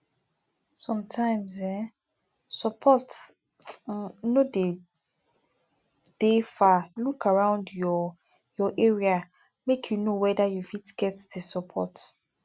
sometimes um support um no de dey far look around your your area make you know weda you fit get di support